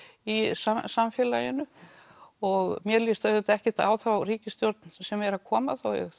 í samfélaginu og mér lýst auðvitað ekkert á þá ríkisstjórn sem er að koma